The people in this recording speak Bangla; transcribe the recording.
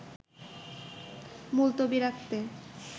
মুলতবি রাখতে